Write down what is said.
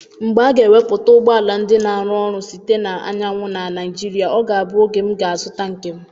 Mgbe a ga-ewepụta ụgbọ ala ndị na-arụ ọrụ site na anyanwụ na Naịjirịa, ọ ga-abụ oge m ga-azụta nke m.